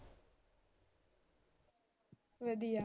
ਵਧੀਆਂ।